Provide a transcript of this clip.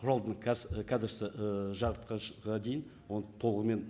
құралдың і кәдісі ыыы жартыжылға дейін оны толығымен